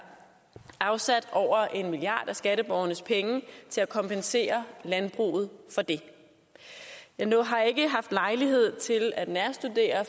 afsat over en milliard kroner af skatteborgernes penge til at kompensere landbruget med nu har ikke haft lejlighed til at nærstudere